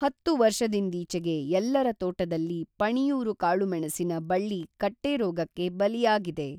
ಹತ್ತು ವರ್ಷಂದೀಚೆಗೆ ಎಲ್ಲರ ತೋಟದಲ್ಲಿ ಪಣಿಯೂರು ಕಾಳುಮೆಣಸಿನ ಬಳ್ಳಿ ಕಟ್ಟೆ ರೋಗಕ್ಕೆ ಬಲಿಯಾಗಿದೆ.